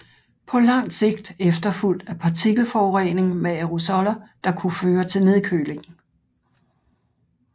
På langt sigt efterfulgt af partikelforurening med aerosoller der kunne føre til nedkøling